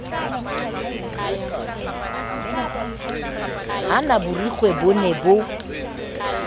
hana borikgwe bo ne bo